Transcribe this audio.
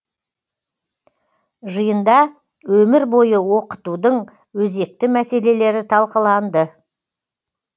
жиында өмір бойы оқытудың өзекті мәселелері талқыланды